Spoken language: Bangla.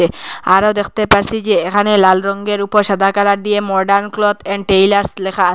আরো দেখতে পারসি যে এখানে লাল রঙ্গের উপর সাদা কালার দিয়ে মর্ডান ক্লথ অ্যান্ড টেইলার্স লেখা আস --